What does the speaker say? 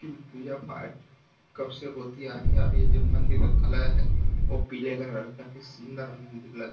पूजा पाठ कब से होती आ रही है और ये जो मंदिर का कलर है वो पीले कलर का है सुंदर उम्म लग --